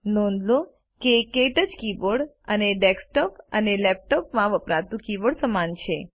નોંધ લો કે ક્ટચ કીબોર્ડ અને ડેસ્કટોપ અને લેપટોપમાં વપરાતું કીબોર્ડ સમાન છે